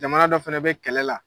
Jamana dɔ fɛnɛ be kɛlɛ la